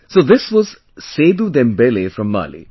So this was Sedu Dembele from Mali